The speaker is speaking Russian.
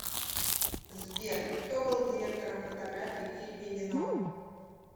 сбер кто был директором фотографии в фильме веном